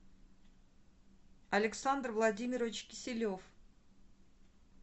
александр владимирович киселев